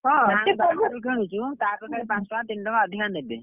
ବାହାରୁ କିଣୁଛୁ ତା ଅପେକ୍ଷା ପାଞ୍ଚ ଟଙ୍କା ତିନି ଟଙ୍କା ଅଧିକା ନେବେ,